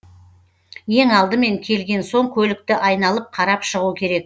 ең алдымен келген соң көлікті айналып қарап шығу керек